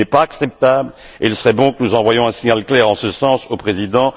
Ce n'est pas acceptable et il serait bon que nous envoyons un signal clair en ce sens au président